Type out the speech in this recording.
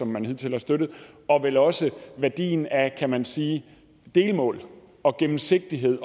man hidtil har støttet og vel også værdien af kan man sige delmål og gennemsigtighed